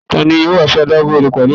Tani yoo wa si adagun odo pẹlu rẹ?